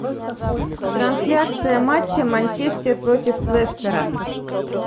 трансляция матча манчестер против лестера